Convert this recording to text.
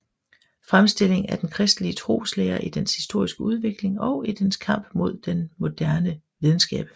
Fremstilling af den christelige Troeslære i dens historiske Udvikling og i dens Kamp med den moderne Videnskab